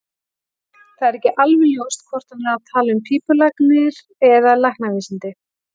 Það er ekki alveg ljóst hvort hann er að tala um pípulagnir eða læknavísindi.